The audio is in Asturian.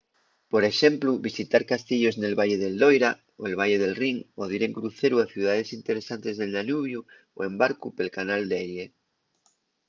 por exemplu visitar castiellos nel valle del loira el valle del rin o dir en cruceru a ciudaes interesantes del danubiu o en barcu pel canal d’erie